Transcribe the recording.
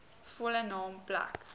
volle naam plek